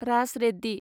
Raj Reddy